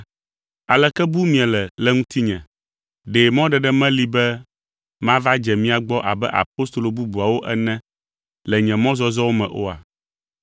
Aleke bum miele le ŋutinye? Ɖe mɔɖeɖe meli be mava dze mia gbɔ abe apostolo bubuawo ene le nye mɔzɔzɔwo me oa?